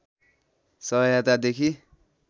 सहायता देखि